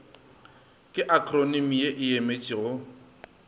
ke akhronimi ye e emetšego